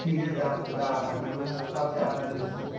period দেও~ দেওয়া থাকবে ওরকম কিছু আছে আপনাদের system